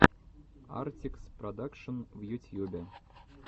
артикс продакшн в ютьюбе